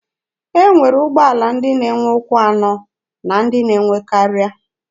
E nwere ụgbọala ndị na-enwe ụkwụ anọ na ndị na-enwe karịa.